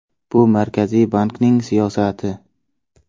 Bu Markaziy bankning siyosati.